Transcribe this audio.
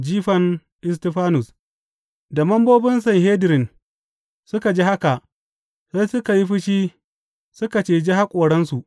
Jifan Istifanus Da membobin Sanhedrin suka ji haka, sai suka yi fushi suka ciji haƙoransu.